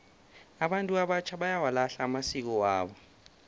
abantu abatjha bayawalahla amasiko wabo